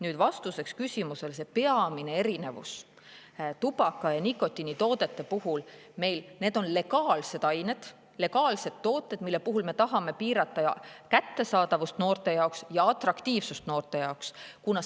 Nüüd, vastuseks küsimusele: peamine erinevus tubaka- ja muude nikotiinitoodete puhul on see, et need on legaalsed ained, legaalsed tooted, mille puhul me tahame piirata kättesaadavust noorte seas ja atraktiivsust noorte seas.